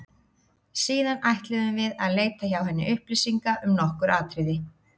Síðan ætluðum við að leita hjá henni upplýsinga um nokkur atriði.